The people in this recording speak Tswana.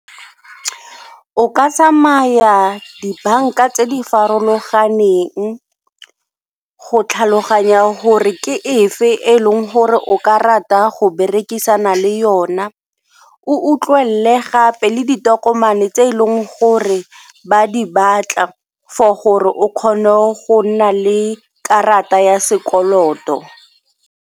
O ka tsamaya dibanka tse di farologaneng go tlhaloganya gore ke efe e leng gore o ka rata go berekisana le yona, o utlwelele gape le ditokomane tse e leng gore ba di batla for gore o kgone go nna le karata ya sekoloto.